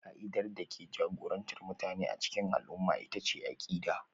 Ƙa'idar da ke jagorantar mutane a cikin al'umma ita ce akida